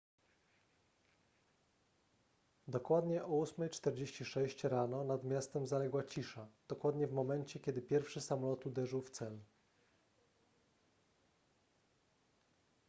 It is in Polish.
dokładnie o 8:46 rano nad miastem zaległa cisza dokładnie w momencie kiedy pierwszy samolot uderzył w cel